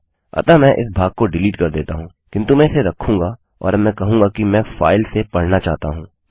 अतः मैं इस भाग को डिलीट कर देता हूँ किन्तु मैं इसे रखूँगा और अब मैं कहूँगा कि मैं फाइल से पढ़ना चाहता हूँ